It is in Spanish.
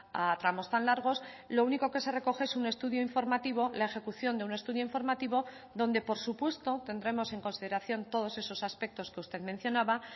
a tramos tan largos lo único que se recoge es un estudio informativo la ejecución de un estudio informativo donde por supuesto tendremos en consideración todos esos aspectos que usted mencionaba